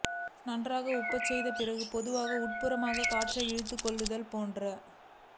நன்றாக உப்பச்செய்து பிறகு மெதுவாக உட்புறமாக காற்றை இழுத்துக் கொள்ளுதல் போன்ற